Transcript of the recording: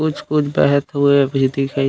कुछ-कुछ बहत हुए भी दिखाई--